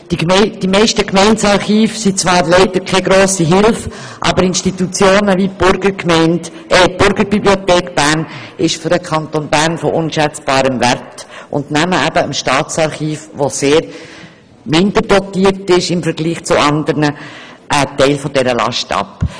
Die meisten Gemeindearchive sind zwar leider keine grosse Hilfe, aber Institutionen wie die Burgerbibliothek Bern sind für den Kanton Bern von unschätzbarem Wert und nehmen dem Staatsarchiv, das vergleichsweise minderdotiert ist, einen Teil der Last ab.